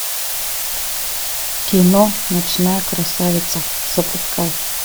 кино ночная красавица запускай